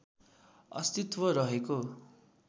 अस्तित्व रहेको